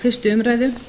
fyrstu umræðu þar